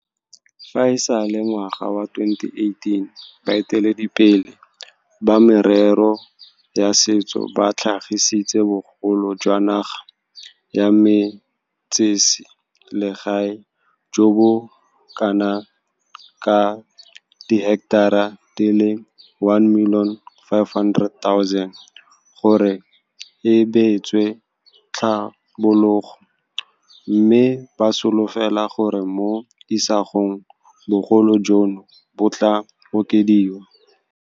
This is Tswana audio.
Fa e sale ngwaga wa 2018, baeteledipele ba merero ya setso ba tlhagisitse bogolo jwa naga ya metsese legae jo bo kanaka diheketara di le 1 500 000 gore e beetswe tlhabologo, mme ba solofela gore mo isagong bogolo jono bo tla okediwa.